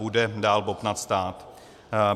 Bude dál bobtnat stát.